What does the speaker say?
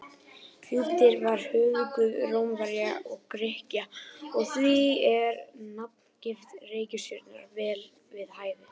Júpíter var höfuðguð Rómverja og Grikkja og því er nafngift reikistjörnunnar vel við hæfi.